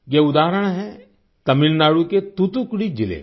ये उदाहरण है तमिलनाडु के तूतुकुड़ी जिले का